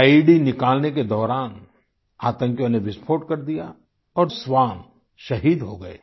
IED निकालने के दौरान आंतकियों ने विस्फोट कर दिया और श्वान शहीद हो गये